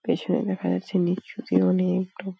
পেছনে দেখা যাচ্ছে নীচুতে অনেক-অ টা --